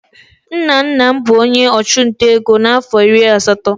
Nna nna m bụ onye ọchụnta ego na afọ iri asatọ.